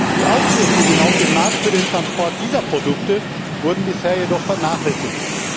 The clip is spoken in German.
Die Auswirkungen auf den Markt für den Transport dieser Produkte wurden bisher jedoch vernachlässigt.